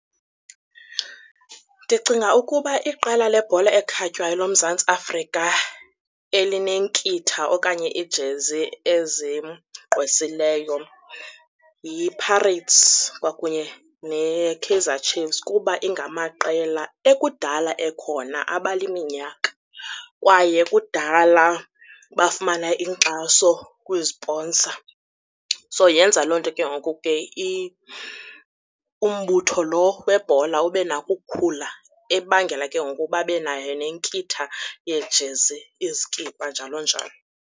Ndicinga ukuba iqela lebhola ekhatywayo loMzantsi Afrika elinenkitha okanye iijezi ezigqwesileyo yiPirates kwakunye neKaizer Chiefs kuba ingamaqela ekudala ekhona abala iminyaka, kwaye kudala bafumana inkxaso kwiziponsa. So, yenza loo nto ke ngoku ke umbutho loo webhola ube nako ukukhula ebangela ke ngoku babe nayo nenkitha yeejezi izikipa njalo njalo.